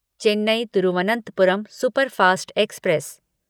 Chennai Thiruvananthapuram superfast express